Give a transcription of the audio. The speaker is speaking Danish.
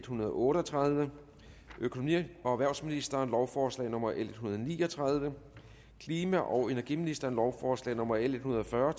hundrede og otte og tredive økonomi og erhvervsministeren lovforslag nummer l en hundrede og ni og tredive klima og energiministeren lovforslag nummer l en hundrede og fyrre